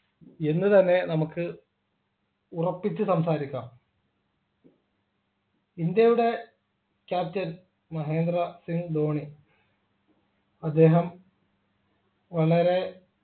എന്നുതന്നെ നമുക്ക് ഉറപ്പിച്ച് സംസാരിക്കാം ഇന്ത്യയുടെ captain മഹേന്ദ്ര സിംഗ് ധോണി അദ്ദേഹം വളരെ